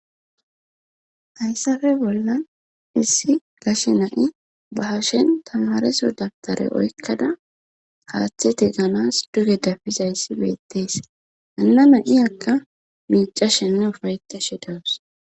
hayssafe bollan issi gashe nai bahashen tamareso dabtare oykkada haaththe te ganas duge dafizayssi beettees anana iyakka miicashenne ufayeta she dawus